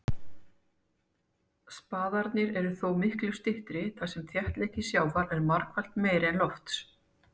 Spaðarnir eru þó miklu styttri þar sem þéttleiki sjávar er margfalt meiri en lofts.